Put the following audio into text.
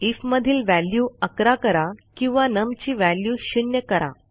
if मधील value 11 करा किंवा नम ची व्हॅल्यू 0 करा